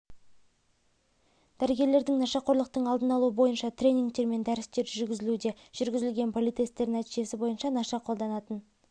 дәрігерлердің нашақорлықтың алдын алу бойынша тренингтер мен дәрістер жүргізілуде жүргізілген политесттер нәтижесі бойынша наша қолданатын